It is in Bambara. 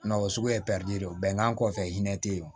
o suguya ye pɛridi de ye bɛnkan kɔfɛ hinɛ te yen o